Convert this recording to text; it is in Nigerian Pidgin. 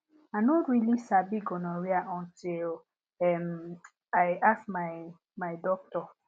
i no really sabi gonorrhea until um i ask my my doctor